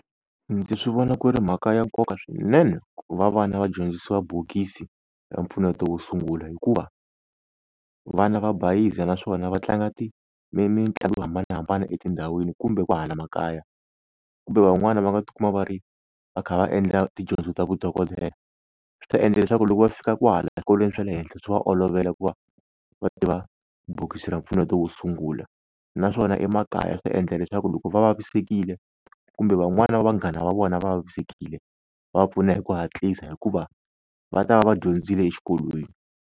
Ndzi swi vona ku ri mhaka ya nkoka swinene ku va vana va dyondzisiwa bokisi ra mpfuneto wo sungula hikuva vana va bayizisa naswona va tlanga mitlangu yo hambanahambana etindhawini kumbe ku hala makaya, kumbe van'wani va nga tikuma va ri va kha va endla tidyondzo ta vudokodela,. Swi ta endla leswaku loko va fika kwahala swikolweni swa le henhla swi va olovela ku va va tiva bokisi ra mpfuneto wo sungula. Naswona emakaya swi ta endla leswaku loko va vavisekile kumbe van'wana va vanghana va vona va vavisekile va pfuna hi ku hatlisa hikuva va ta va va dyondzile exikolweni.